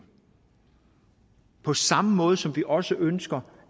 på samme måde som vi også ønsker